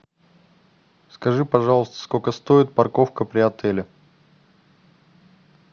скажи пожалуйста сколько стоит парковка при отеле